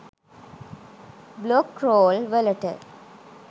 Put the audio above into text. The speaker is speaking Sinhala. බ්ලොග් රෝල් වලට.